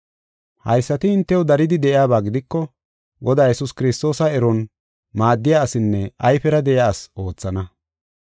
Haysati hintew daridi de7iyaba gidiko, Godaa Yesuus Kiristoosa eron maaddiya asinne ayfera de7iya asi oothana.